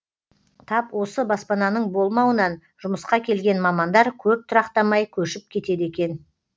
тап осы баспананың болмауынан жұмысқа келген мамандар көп тұрақтамай көшіп кетеді екен